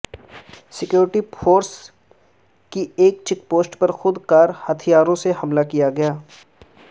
security forces کی ایک check post پر خود کار ہتھیاروں سے حملہ کیا گیا